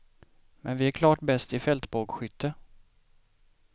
Men vi är klart bäst i fältbågskytte.